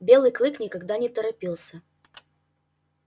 белый клык никогда не торопился